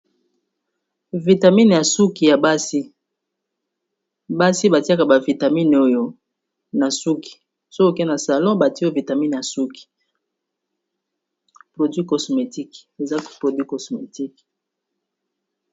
Vitamine ya suki ya basi basi batiaka ba vitamine oyo na suki soki oke na salon batie yo vitamine ya suki produit cosmetique eza produit cosmetique.